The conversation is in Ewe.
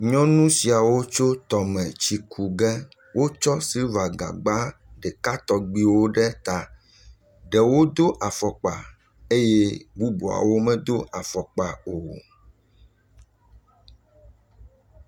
Nyɔnu siawo yi tɔme yi tsi ku ge. Wotsɔ siliva gagba ɖeka tɔgbewo ɖe ta. Ɖewo do afɔkpa eye bubuawo me do afɔkpa o.